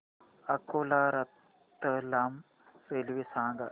Akola Ratlam railway सांगा